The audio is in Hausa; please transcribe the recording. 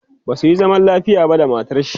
basuyi zaman lafiya ba da matarshi